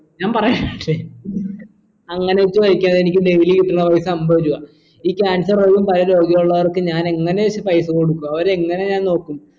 ഞാൻ പറയാ അങ്ങനെ ചോയ്ക്കാനിക്ക് daily കിട്ടണോ പൈസ അമ്പത് രൂപ ഈ cancer ഉള്ള പല രോഗിയുള്ളോർക്ക് ഞാൻ എങ്ങനെ വെച്ച് പൈസ കൊടുക്കും അവരെ എങ്ങനെ ഞാൻ നോക്കും